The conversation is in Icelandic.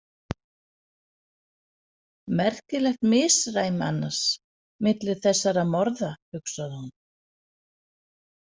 Merkilegt misræmi annars milli þessara morða, hugsaði hún.